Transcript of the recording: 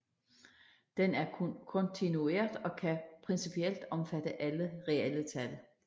Den er kontinuert og kan principielt omfatte alle reelle tal